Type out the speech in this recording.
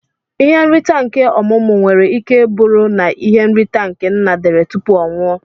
Ihe nrita nke ọmumu nwere ike buru na ihe nrita nke nna dere tupu ọnwụọ.